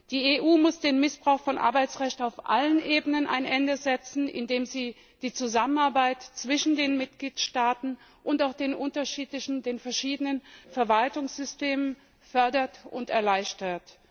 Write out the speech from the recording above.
Die EU muss dem Missbrauch von Arbeitsrecht auf allen Ebenen ein Ende setzen, indem sie die Zusammenarbeit zwischen den Mitgliedstaaten und auch den verschiedenen Verwaltungssystemen fördert und erleichtert.